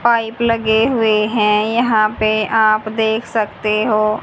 Pipe लगे हुएं हैं यहां पे आप देख सकते हो।